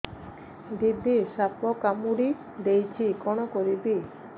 ଦିଦି ସାପ କାମୁଡି ଦେଇଛି କଣ କରିବି